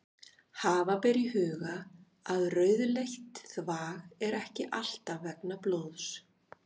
Hafa ber í huga að rauðleitt þvag er ekki alltaf vegna blóðs.